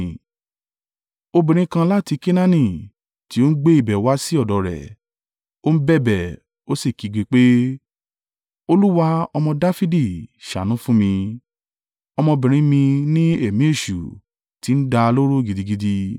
Obìnrin kan láti Kenaani, tí ó ń gbé ibẹ̀ wá sí ọ̀dọ̀ rẹ̀. Ó ń bẹ̀bẹ̀, ó sì kígbe pé, “Olúwa, ọmọ Dafidi, ṣàánú fún mi; ọmọbìnrin mi ní ẹ̀mí èṣù ti ń dá a lóró gidigidi.”